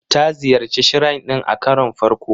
Ta ziyarci Shrine din a karon farko.